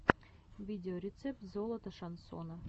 видеорецепт золото шансона